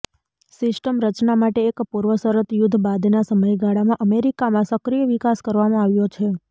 system રચના માટે એક પૂર્વશરત યુદ્ધ બાદના સમયગાળામાં અમેરિકામાં સક્રિય વિકાસ કરવામાં આવ્યો છે